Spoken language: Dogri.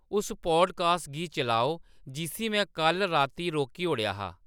उस पाडकास्ट गी चलाओ जिस्सी में कल्ल राती रोकी ओड़ेआ हा